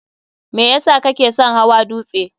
me yesa kake son hawa dutse?